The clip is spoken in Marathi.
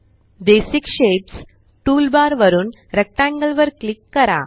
बेसिक शेप्स टूल बार वरुन रेक्टेंगल वर क्लिक करा